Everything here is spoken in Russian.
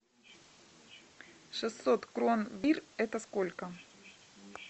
шестьсот крон бир это сколько